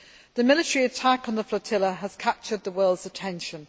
The military attack on the flotilla has captured the world's attention.